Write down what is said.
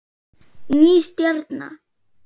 Ný stjarna